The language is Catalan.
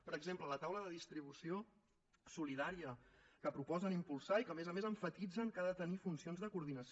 per exemple la taula de distribució solidària que proposen impulsar i que a més a més emfatitzen que ha de tenir funcions de coordinació